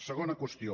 segona qüestió